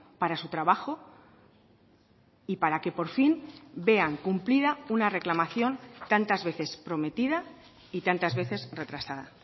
para su trabajo y para que por fin vean cumplida una reclamación tantas veces prometida y tantas veces retrasada